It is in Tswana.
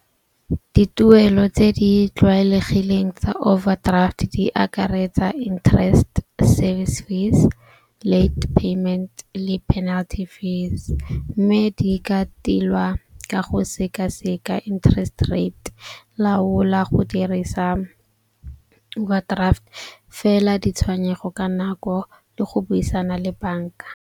Dituelo tse di tlwaelegileng tsa overdraft di akaretsa interest service fees, late payment le penalty fees. Mme di ka tilwa ka go sekaseka interest rate, laola go dirisa overdraft fela ditshwenyego ka nako le go buisana le bank-a.